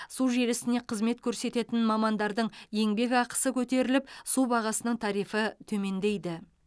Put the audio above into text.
су желісіне қызмет көрсететін мамандардың еңбекақысы көтеріліп су бағасының тарифі төмендейді